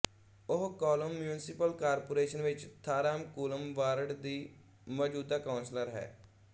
ਉਹ Kollam municipal corporation ਵਿੱਚ Thamarakulam ward ਦੀ ਮੌਜੂਦਾ ਕੌਂਸਲਰ ਹੈ